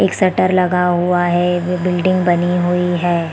एक शटर लगा हुआ है एक बिल्डिंग बनी हुई है।